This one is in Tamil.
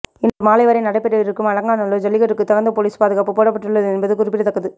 இன்று மாலை வரை நடைபெறவிருக்கும் அலங்காநல்லூர் ஜல்லிக்கட்டுக்கு தகுந்த போலீஸ் பாதுகாப்பு போடப்பட்டுள்ளது என்பது குறிப்பிடத்தக்கது